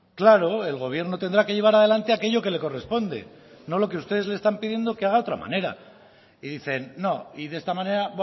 claro el gobierno tendrá que llevar adelante aquello que le corresponde no lo que ustedes le están pidiendo que haga de otra manera y dicen no y de esta manera